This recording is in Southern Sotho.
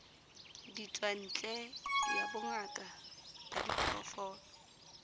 ditswantle ya bongaka ba diphoofolo